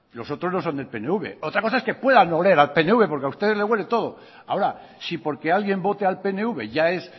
los otros no son del pnv otra cosa es que puedan oler al pnv porque a ustedes les huele todo ahora si porque alguien vote al pnv ya es